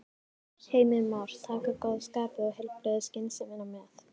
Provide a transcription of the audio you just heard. Heimir Már: Taka góða skapið og heilbrigðu skynsemina með?